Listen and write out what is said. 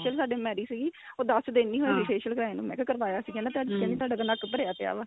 facial ਸਾਡੇ marriage ਸੀਗੀ ਉਹ ਦੱਸ ਦਿਨ ਨੀ ਹੋਏ facial ਕਰਾਏ ਨੂੰ ਮੈਂ ਕਿਹਾ ਕਰਵਾਇਆ ਸੀ ਕਹਿੰਦੀ ਤੁਹਾਡਾ ਨੱਕ ਭਰਿਆ ਪਿਆ ਵਾ